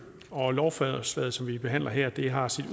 og lovforslaget som vi behandler her har sit